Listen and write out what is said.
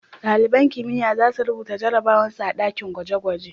Dalibain kimiyya za su rubuta jarabawan su a dakin gwaje-gwaje.